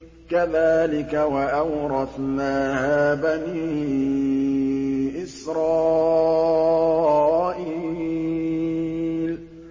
كَذَٰلِكَ وَأَوْرَثْنَاهَا بَنِي إِسْرَائِيلَ